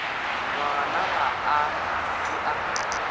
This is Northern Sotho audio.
ngwana ga a ke a